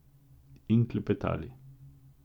In klepetali.